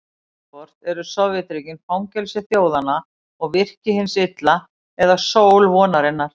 Annaðhvort eru Sovétríkin fangelsi þjóðanna og virki hins illa eða sól vonarinnar.